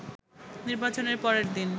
নির্বাচনের পরের দিন